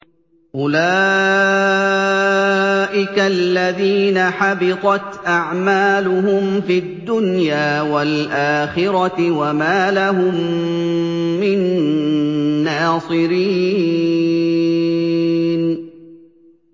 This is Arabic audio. أُولَٰئِكَ الَّذِينَ حَبِطَتْ أَعْمَالُهُمْ فِي الدُّنْيَا وَالْآخِرَةِ وَمَا لَهُم مِّن نَّاصِرِينَ